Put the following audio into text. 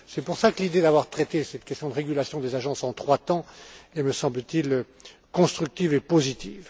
C'est pour cela que l'idée d'avoir traité cette question de régulation des agences en trois temps est, me semble t il, constructive et positive.